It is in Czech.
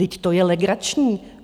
Vždyť to je legrační.